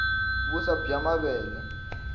vuswa bya mavele